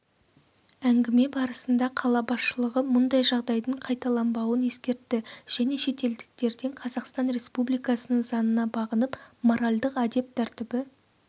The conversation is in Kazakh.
әңгіме барысында қала басшылығы мұндай жағдайдың қайталанбауын ескертті және шетелдіктерден қазақстан республикасының заңына бағынып моральдық-әдеп тәртібі